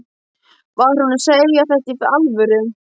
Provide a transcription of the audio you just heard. Var hún að segja þetta í alvöru?